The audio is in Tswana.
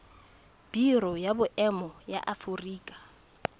biro ya boemo ya aforika